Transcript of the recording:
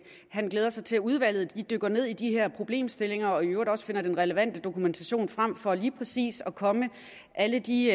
han glæder sig til at udvalget dykker ned i de her problemstillinger og i øvrigt også finder den relevante dokumentation frem for lige præcis at komme alle de